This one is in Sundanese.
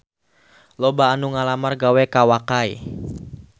Loba anu ngalamar gawe ka Wakai